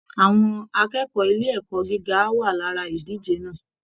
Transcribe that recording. Àwọn akẹ́kọ̀ọ́ ilé ẹ̀kọ́ gíga á wà lára ìdíje náà